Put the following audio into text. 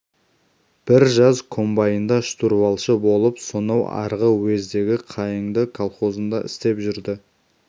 бір жаз комбайнда штурвалшы болып сонау арғы уездегі қайыңды колхозында істеп жүрді